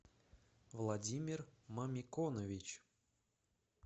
владимир мамиконович